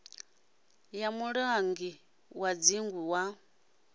ya mulangi wa dzingu wa